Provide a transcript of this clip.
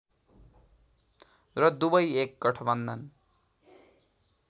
र दुवै एक गठबन्धन